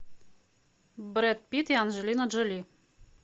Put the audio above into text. брэд питт и анджелина джоли